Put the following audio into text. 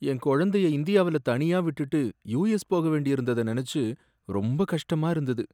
என் கொழந்தைய இந்தியாவுல தனியா விட்டுட்டு யுஎஸ் போகவேண்டியிருந்தத நினைச்சு ரொம்ப கஷ்டமா இருந்தது.